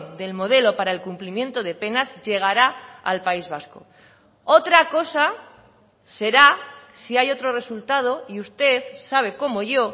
del modelo para el cumplimiento de penas llegará al país vasco otra cosa será si hay otro resultado y usted sabe cómo yo